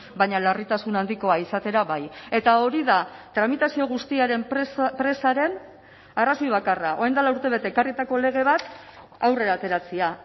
baina larritasun handikoa izatera bai eta hori da tramitazio guztiaren presaren arrazoi bakarra orain dela urtebete ekarritako lege bat aurrera ateratzea